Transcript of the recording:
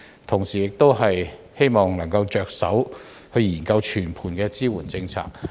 同時，我亦希望政府能夠着手研究全盤的支援政策。